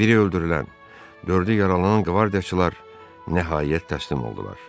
Biri öldürülən, dördü yaralanan qvardiyaçılar nəhayət təslim oldular.